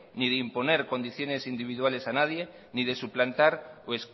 ni de imponer condiciones individuales a nadie ni de suplantar o